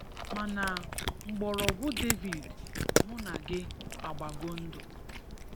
Mana mgborogwu David mu na gi agbago ndu,